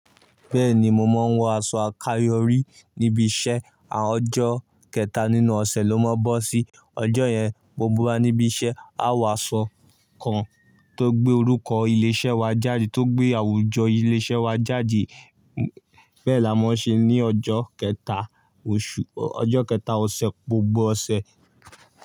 Bẹ́ẹ̀ni, mo máa ń wọ aṣọ àkáyọrí níbi iṣẹ́. Ọjọ́ kẹta nínú ọ̀sẹ̀ ló máa ń bọ́ sí ọjọ́ yẹn gbogbo wa níbi iṣẹ́ á wọ aṣọ kan tó gbé orúkọ ilé-iṣẹ́ wa jáde, tó gbé àwùjọ ilé-iṣẹ́ wa jáde. Bẹ́ẹ̀ la máa ń ṣe ní ọjọ́ kẹta oṣù, ọjọ́ kẹta ọ̀sẹ̀, gbogbo ọ̀sẹ̀.